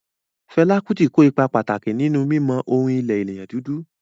Fela Kuti ko ipa pàtàkì nínú mímọ orin ilẹ̀ ènìyàn dúdú